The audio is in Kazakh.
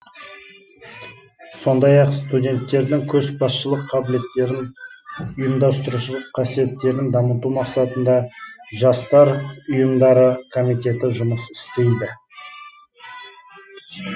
сондай ақ студенттердің көшбасшылық қабілеттерін ұйымдастырушылық қасиеттерін дамыту мақсатында жастар ұйфмдары комитеті жұмыс істейді